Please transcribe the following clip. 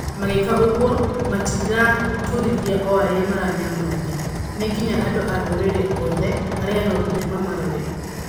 Magĩĩka ũguo, matiraturithia o arĩa maranyamaria. Nĩ nginya andũ a ndũrĩrĩ othe, arĩa no nginya mamarore.